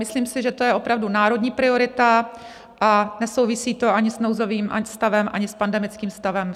Myslím si, že to je opravdu národní priorita, a nesouvisí to ani s nouzovým stavem, ani s pandemickým stavem.